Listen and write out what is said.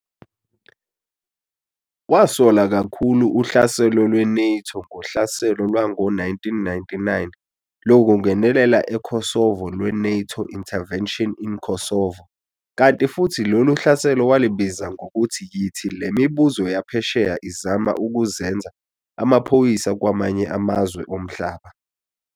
Wasola kakhulu uhlaselo lwe-NATO ngohlaselo lwango 1999 lokungenela eKosovo lwe-NATO intervention in Kosovo kanti futhi lolu hlaselo walibiza ngokuthi yithi le mibuzo yaphesheya izama ukuzenza amaphoyisa kwamanye amazwe omhlaba.